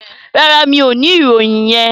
No, I don't have that information.